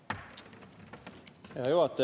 Hea juhataja!